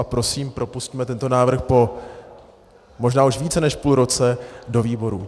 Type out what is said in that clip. A prosím, propusťme tento návrh po možná už více než půl roce do výborů.